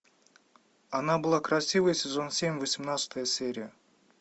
она была красивой сезон семь восемнадцатая серия